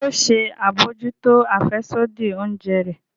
Ṣe yoo ṣe abojuto afẹsodi oúnjẹ rẹ?